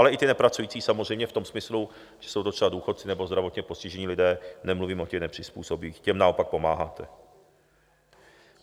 Ale i ty nepracující samozřejmě v tom smyslu, že jsou to třeba důchodci nebo zdravotně postižení lidé, nemluvím o těch nepřizpůsobivých, těm naopak pomáháte.